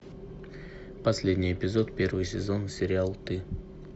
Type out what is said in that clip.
последний эпизод первый сезон сериал ты